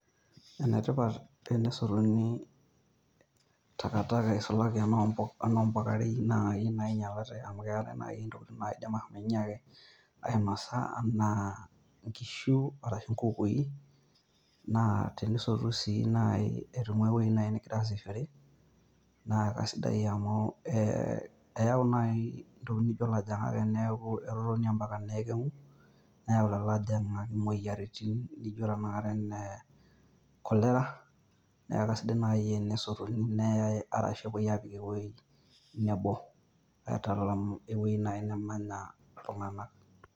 Ene tipat tenesotuni takataka isulaki enoompukarei naai ... amu keetai naai intokitin naaidim .... aainosa enaa inkishu arashu inkukui, naa tenisotu sii nai aitung'ua ewuoi naai ningira aasishore, naa kasidai amu eeu nai entokitin nijo ilajang'ak eneeku etotonio mpaka neeku keng'u, neeu taa ilajang'ak imoyiaritin nijo tanakata ene cholera neaku naai kasidai tenesotuni neai arashu epuoi aapik ewuoi nebo, aitalam ewuoi naai nemanya iltung'anak.